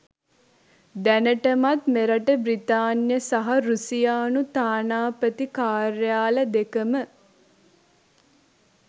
දැනටමත් මෙරට බ්‍රිතාන්‍ය සහ රුසියානු තානාපති කාර්යාල දෙක ම